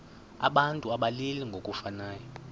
abantu abalili ngokufanayo